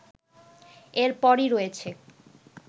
এরপরই রয়েছে